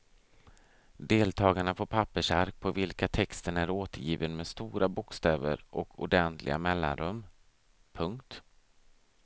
Deltagarna får pappersark på vilka texten är återgiven med stora bokstäver och ordentliga mellanrum. punkt